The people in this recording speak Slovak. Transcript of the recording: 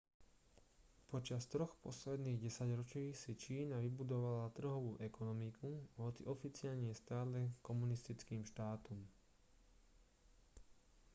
počas troch posledných desaťročí si čína vybudovala trhovú ekonomiku hoci oficiálne je stále komunistickým štátom